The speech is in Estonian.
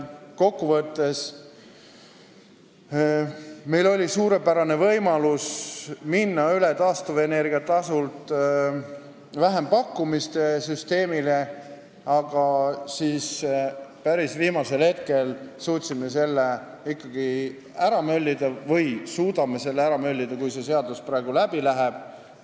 Kokkuvõttes meil oli suurepärane võimalus minna üle taastuvenergia toetuselt vähempakkumise süsteemile, aga päris viimasel hetkel suudame selle ära möllida, kui see seadus praegu läbi läheb.